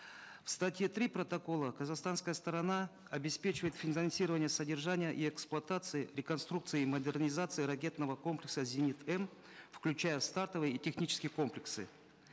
в статье три протокола казахстанская сторона обеспечивает финансирование содержания и эксплуатации реконструкции и модернизации ракетного комплекса зенит м включая стартовый и технический комплексы